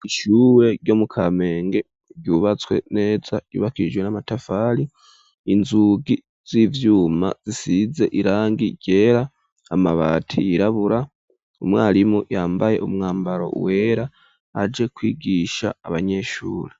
Ishure ryo mu Kamenge ryubatswe neza, ryubakishijwe n'amatafari, inzugi z'ivyuma zisize irangi ryera, amabati yirabura, umwarimu yambaye umwambaro wera aje kwigisha abanyeshure.